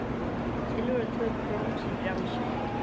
Silfur og tvö brons í frjálsum